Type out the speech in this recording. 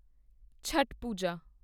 Chhath Puja